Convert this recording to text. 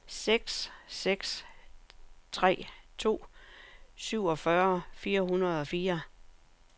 seks seks tre to syvogfyrre fire hundrede og fire